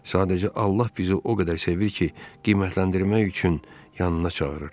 Sadəcə Allah bizi o qədər sevir ki, qiymətləndirmək üçün yanına çağırır.